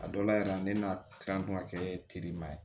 A dɔw la yɛrɛ ne ma kila kuma kɛ terima ye